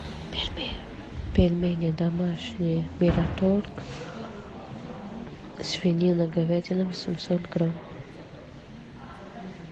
пельмени домашние мираторг свинина говядина восемьсот грамм